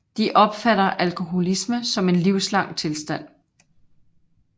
De opfatter alkoholisme som en livslang tilstand